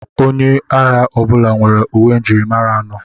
Onye agha ọbụla nwere uwe njirimara anọ.